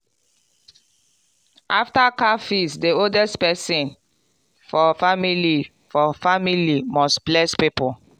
after cow feast the oldest person for family for family must bless people.